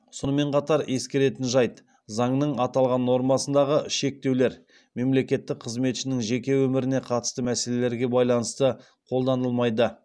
сонымен қатар ескеретін жайт заңның аталған нормасындағы шектеулер мемлекеттік қызметшінің жеке өміріне қатысты мәселелерге байланысты қолданылмайды